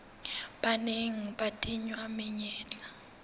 ba neng ba tingwa menyetla